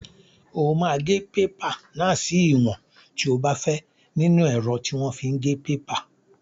O máa gé pépà náà sí ìwọ̀n tí o bá fẹ́ nínú ẹ̀rọ tí wọ́n fi ń gé pépà.